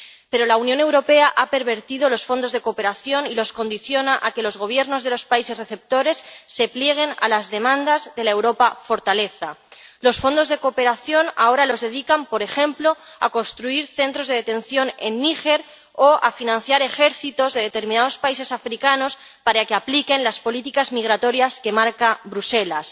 Pero la Unión Europea ha pervertido los fondos de cooperación y los condiciona a que los gobiernos de los países receptores se plieguen a las demandas de la Europa fortaleza. Los fondos de cooperación ahora los dedican, por ejemplo, a construir centros de detención en Níger o a financiar ejércitos de determinados países africanos para que apliquen las políticas migratorias que marca Bruselas,